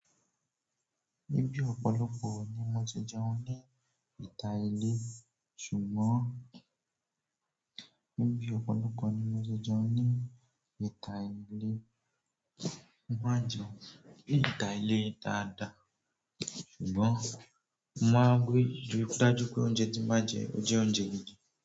Níbi ọ̀pọ̀lọpọ̀ ni mo ti jẹun ní ìta ilé, ṣùgbọ́n níbi ọ̀pọ̀lọpọ̀ ni mo ti jẹun ní ìta ilé mo má n jẹun ní ìta ilé dáadáa, ṣùgbọ́n mo máa n rí i dájú pé oúnjẹ tí n ba jẹ o jẹ́ oúnjẹ gidi.